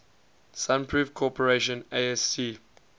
sunroof corporation asc